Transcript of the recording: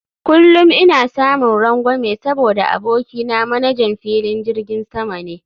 Kullum ina samun rangwame saboda abokina manajan filin jirgin sama ne